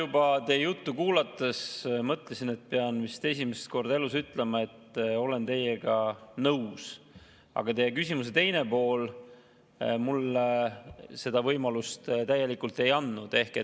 Ma teie juttu kuulates juba mõtlesin, et pean vist esimest korda elus ütlema, et olen teiega nõus, aga teie küsimuse teine pool mulle seda võimalust täielikult ei andnud.